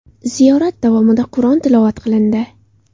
Ziyorat davomida Qur’on tilovat qilindi.